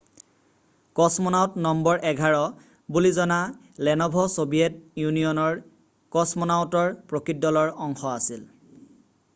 """কছমনাউট number 11" বুলি জনা Leonov' Soviet ইউনিয়নৰ কছমনাউটৰ প্ৰকৃত দলৰ অংশ আছিল৷""